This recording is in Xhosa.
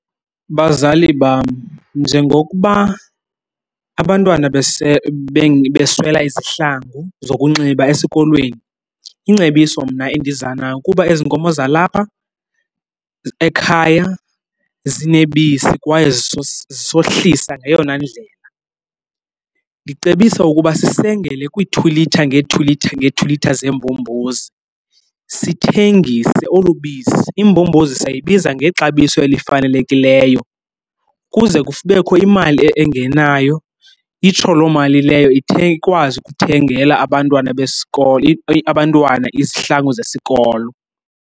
Bazali bam, njengokuba abantwana beswela izihlangu zokunxiba esikolweni, ingcebiso mna endiza nayo kuba ezi nkomo zalapha ekhaya zinebisi kwaye zisohlisa ngeyona ndlela ndicebisa ukuba sisengele kwii-two litre, ngee-two litre, ngee-two litre zeembombozi sithengise olu bisi. Imbombozi sayibiza ngexabiso elifanelekileyo kuze kubekho imali engenayo itsho loo mali leyo ikwazi ukuthengela abantwana abantwana izihlangu zesikolo.